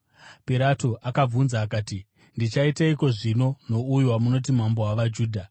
Pirato akabvunza akati, “Ndichaiteiko, zvino, nouyo wamunoti mambo wavaJudha?”